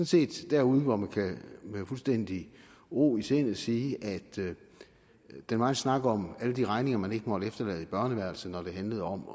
set derude hvor man med fuldstændig ro i sindet kan sige at den megen snak om alle de regninger man ikke måtte efterlade i børneværelset når det handlede om